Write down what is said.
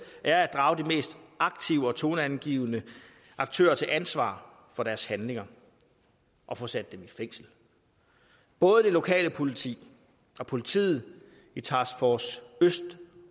er at drage de mest aktive og toneangivende aktører til ansvar for deres handlinger og få sat dem i fængsel både det lokale politi og politiet i task force øst